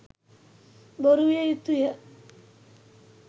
බොරු විය යුතුය.